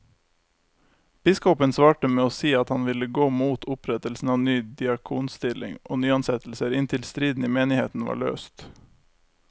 Biskopen svarte med å si at han ville gå mot opprettelse av ny diakonstilling og nyansettelser inntil striden i menigheten var løst.